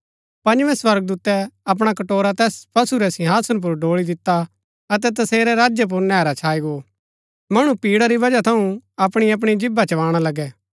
पँजवें स्वर्गदूतै अपणा कटोरा तैस पशु रै सिंहासन पुर ड़ोळी दिता अतै तसेरै राज्य पुर नैहरा छाई गो मणु पीड़ा री वजह थऊँ अपणी अपणी जीभा चबाणा लगै